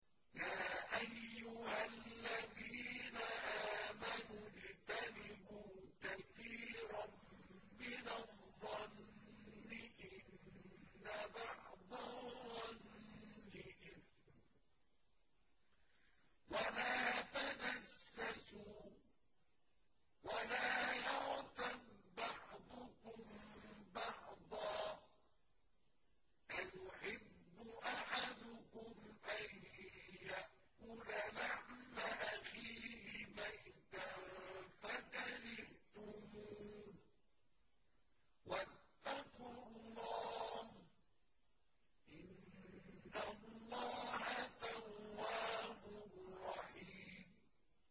يَا أَيُّهَا الَّذِينَ آمَنُوا اجْتَنِبُوا كَثِيرًا مِّنَ الظَّنِّ إِنَّ بَعْضَ الظَّنِّ إِثْمٌ ۖ وَلَا تَجَسَّسُوا وَلَا يَغْتَب بَّعْضُكُم بَعْضًا ۚ أَيُحِبُّ أَحَدُكُمْ أَن يَأْكُلَ لَحْمَ أَخِيهِ مَيْتًا فَكَرِهْتُمُوهُ ۚ وَاتَّقُوا اللَّهَ ۚ إِنَّ اللَّهَ تَوَّابٌ رَّحِيمٌ